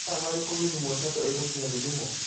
nĩ mathaarĩriĩkũ githumo shuttle ĩgũkinya githũmo